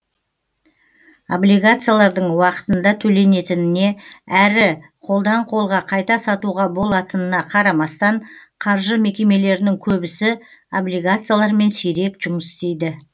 облигациялардың уақытында төленетініне әрі қолдан қолға қайта сатуға болатынына қарамастан қаржы мекемелерінің көбісі облигациялармен сирек жұмыс істейді